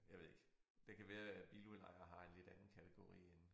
Jeg ved ikke det kan være at biludlejninger har en lidt anden kategori end